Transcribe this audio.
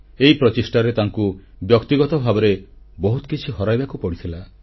ଏହି ପ୍ରଚେଷ୍ଟାରେ ତାଙ୍କୁ ବ୍ୟକ୍ତିଗତ ଭାବରେ ବହୁତ କିଛି ହରାଇବାକୁ ପଡ଼ିଥିଲା